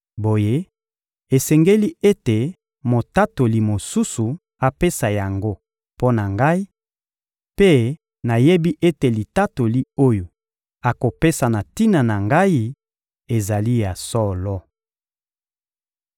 Boye esengeli ete motatoli mosusu apesa yango mpo na Ngai; mpe nayebi ete litatoli oyo akopesa na tina na Ngai ezali ya solo.